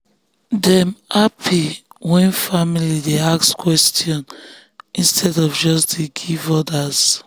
dem happy when family dey ask question instead of just dey give orders.